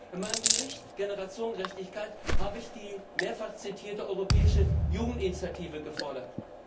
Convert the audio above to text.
In meinem Bericht Generationengerechtigkeit habe ich die mehrfach zitierte europäische Jugendinitiative gefordert.